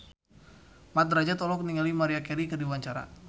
Mat Drajat olohok ningali Maria Carey keur diwawancara